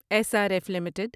S R F limited